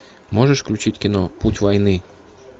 можешь включить кино путь войны